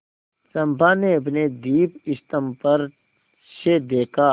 चंपा ने अपने दीपस्तंभ पर से देखा